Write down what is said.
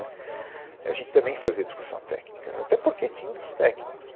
A gente também fazia discussão técnica, até porque tinha outros técnicos